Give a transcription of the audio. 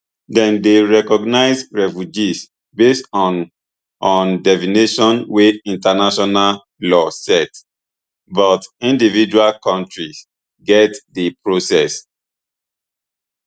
dem dey recognise refugees based on on definitions wey international law set but individual kontris get di process